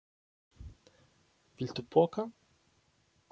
Viltu poka?